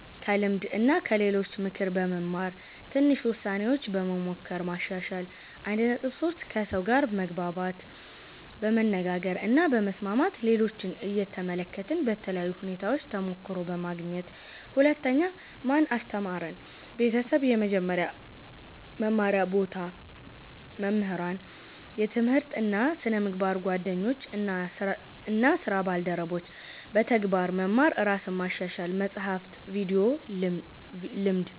ከልምድ እና ከሌሎች ምክር በመማር ትንሽ ውሳኔዎች በመሞከር ማሻሻል 1.3 ከሰው ጋር መግባባት በመነጋገር እና በመስማት ሌሎችን እየተመለከትን በተለያዩ ሁኔታዎች ተሞክሮ በማግኘት 2) ማን አስተማረን? ቤተሰብ – የመጀመሪያ መማር ቦታ መምህራን – የትምህርት እና ስነ-ምግባር ጓደኞች እና ስራ ባልደረቦች – በተግባር መማር ራስን ማሻሻል – መጻሕፍት፣ ቪዲዮ፣ ልምድ